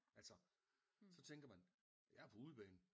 Altså så tænker man jeg er på udebane